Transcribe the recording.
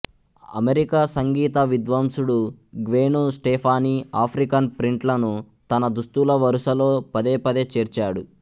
America సంగీత విద్వాంసుడు Gwen Stefani African ప్రింట్లను తన దుస్తుల వరుసలో పదేపదే చేర్చాడు